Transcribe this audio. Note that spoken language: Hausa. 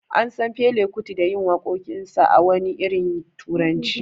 An San Fela Kuti da yin wakokinsa a wani irin turanci.